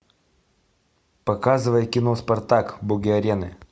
показывай кино спартак боги арены